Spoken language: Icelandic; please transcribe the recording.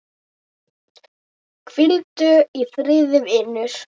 Hvíldu í friði, vinur.